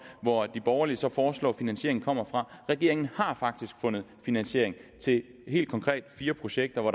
hvor de borgerlige så foreslår finansieringen kommer fra regeringen har faktisk fundet finansiering til helt konkret fire projekter hvor